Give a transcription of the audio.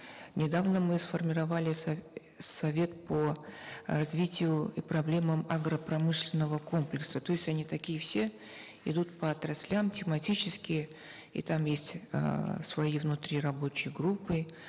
недавно мы сформировали совет по э развитию и проблемам агропромышленного комплекса то есть они такие все идут по отраслям тематические и там есть эээ свои внутри рабочие группы